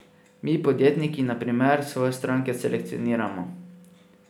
Mi, podjetniki na primer, svoje stranke selekcioniramo.